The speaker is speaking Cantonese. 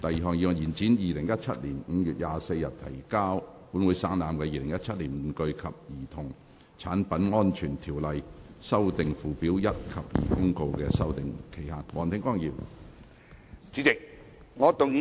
第二項議案：延展於2017年5月24日提交本會省覽的《2017年玩具及兒童產品安全條例公告》的修訂期限。